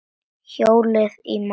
Hjólið í málið.